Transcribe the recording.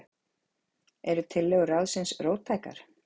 Eru tillögur ráðsins róttækar?